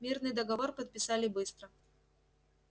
мирный договор подписали быстро